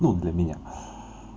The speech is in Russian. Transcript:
ну для меня